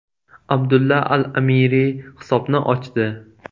Abdulla al-Amiri hisobni ochdi.